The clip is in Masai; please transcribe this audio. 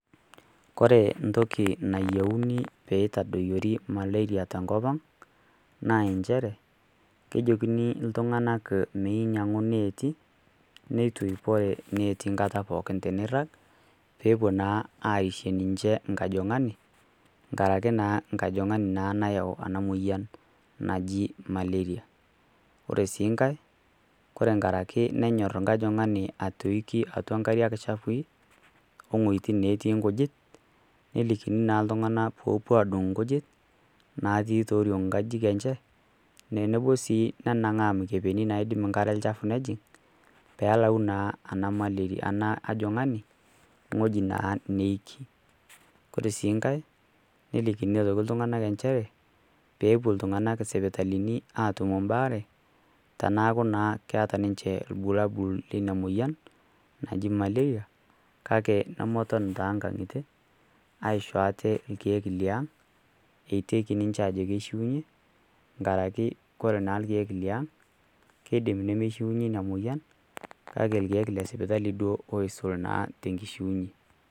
Kore entoki nayiouni pee eitadoyiori Malaria te enkop aang', naa enchere kejokini iltung'ana meinyang'u ineeti, neitoipore ineeti kata pooki teneirag, pee epuo naa aisho ninche enkajong'ani, nkaraki naa nkajong'ani naa nayau ena moyian naji Malaria. Ore sii nkai Kore enkarake nenyor enkajong'ani atoiki atua inkariak shafui o inwuetin natii inkujit, nelikini naa iltung'ana peepuo adung' inkujit natii tooring' inkajijik enye, tenepuo sii nenang'aa imikebeni naibung' inkare chafui nejing', pee elau naa ena malaria anaa ena ajong'ani ewueji naa neiki. Kore sii nkai nelikini iltung'ana aitoki inchere peepuo iltung'anak isipitalini aatum imbaare teneaku keata naa ninche irbulabul le Ina moyian naji Malaria kake nemeton taa too inkang'itie aisho aate ilkiek le ang' eiteki ninche ajo keishuunye, nkaraki Kore naa ilkeek le aang', keidim nemeishuunye Ina moyian kake ilkeek le sipitali duo oisul naa te enkishuunye.